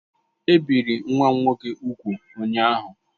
E biri nwa m nwoke úgwù ụnyaahụ